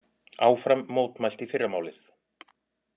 Áfram mótmælt í fyrramálið